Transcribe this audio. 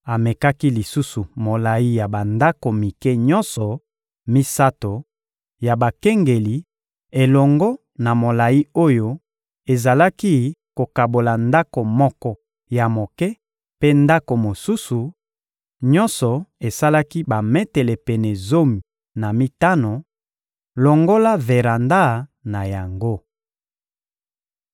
Amekaki lisusu molayi ya bandako mike nyonso misato ya bakengeli elongo na molayi oyo ezalaki kokabola ndako moko ya moke mpe ndako mosusu: nyonso esalaki bametele pene zomi na mitano, longola veranda na yango.